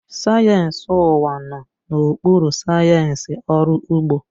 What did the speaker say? Sayensị ụwa nọ n'okpuru sayensị ọrụ ugbo